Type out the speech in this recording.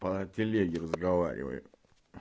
по телеграму разговариваю